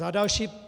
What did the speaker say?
Za další.